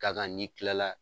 Ka kan ni kila la